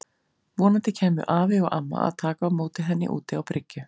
Vonandi kæmu afi og amma að taka á móti henni út á bryggju.